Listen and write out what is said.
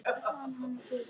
Hann er ber, ber.